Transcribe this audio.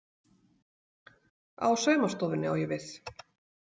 Á saumastofunni, á ég við